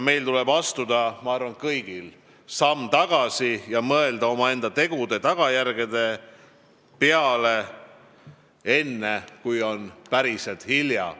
Ma arvan, et meil kõigil tuleb astuda samm tagasi ja mõelda omaenda tegude tagajärgede peale, enne kui on päriselt hilja.